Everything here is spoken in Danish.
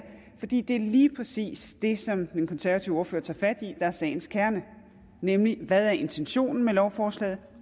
fordi det lige præcis er det som den konservative ordfører tager fat i der er sagens kerne nemlig hvad intentionen er med lovforslaget